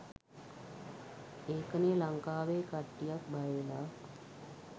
ඒකනේ ලංකාවේ කට්ටියක් බය වෙලා